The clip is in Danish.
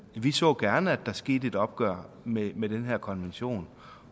vi så gerne at der skete et opgør med med den her konvention